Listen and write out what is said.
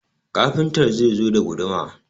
Kafintar zai zo da guduma